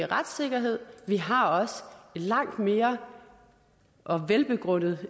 retssikkerhed vi har også langt mere og velbegrundet